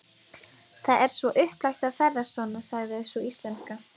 Það er svo upplagt að ferðast svona, sagði sú íslenska.